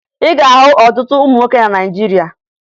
Ị ga-ahụ ọtụtụ ụmụ nwoke na Naịjirịa